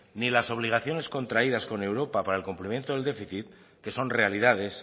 ni las obligaciones contraídas con europa para el cumplimiento del déficit que son realidades